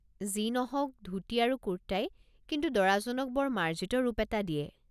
যি নহওক, ধূতি আৰু কুৰ্টাই কিন্তু দৰাজনক বৰ মাৰ্জিত ৰূপ এটা দিয়ে।